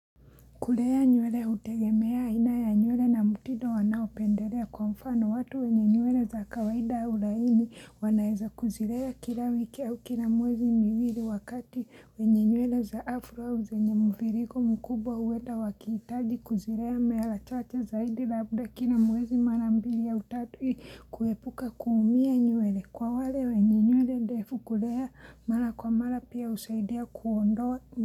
Kulea nywele hutegemea aina ya nywele na mutindo wanao pendelea kwa mfano watu wenye nywele za kawaida ulaini wanaeza kuzirea kila wiki au kila mwezi miwili wakati. Wenye nywele za afro au zenye mvirigo mkubwa uweta wakitaji kuzirea mara chache zaidi labda kila mwezi mara mbili ya utatu hii kuepuka kuumia nywele. Kwa wale wenye nywele ndefu kulea mala kwa mala pia usaidia kuondoa.